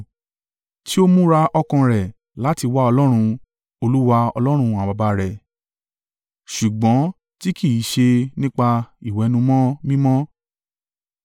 tí ó múra ọkàn rẹ̀ láti wá Ọlọ́run, Olúwa Ọlọ́run àwọn baba rẹ̀ ṣùgbọ́n tí kì í ṣe nípa ìwẹ̀nùmọ́ mímọ́